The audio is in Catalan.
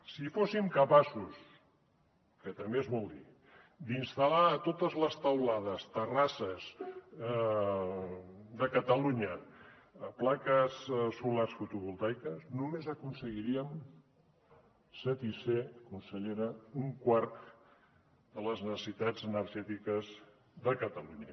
si fóssim capaços que també és molt dir d’installar a totes les teulades terrasses de catalunya plaques solars fotovoltaiques només aconseguiríem satisfer consellera un quart de les necessitats energètiques de catalunya